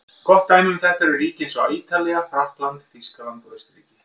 Gott dæmi um þetta eru ríki eins og Ítalía, Frakkland, Þýskaland og Austurríki.